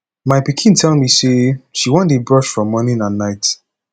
my pikin tell me say she wan dey brush for morning and night